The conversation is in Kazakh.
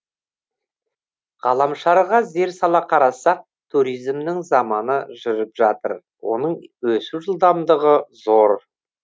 ғаламшарға зер сала қарасақ туризмнің заманы жүріп жатыр оның өсу жылдамдығы зор